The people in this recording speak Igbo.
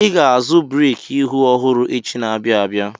Ị ga-azụ breki ihu ọhụrụ echi na-abịa abịa!